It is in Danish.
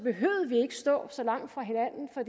stå så langt fra hinanden for